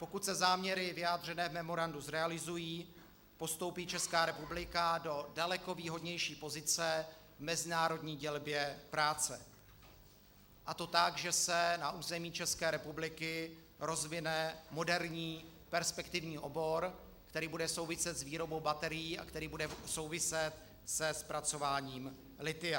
Pokud se záměry vyjádřené v memorandu zrealizují, postoupí Česká republika do daleko výhodnější pozice v mezinárodní dělbě práce, a to tak, že se na území České republiky rozvine moderní perspektivní obor, který bude souviset s výrobou baterií a který bude souviset se zpracováním lithia.